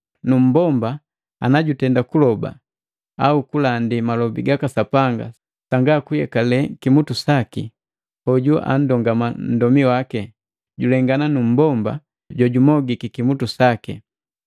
Nummbomba ana jutenda kuloba au kulandi malobi gaka Sapanga sanga kuyekale kimutu saki, hoju anndongama nndomi waki, julengana numbomba jojumogiki kimutu saki.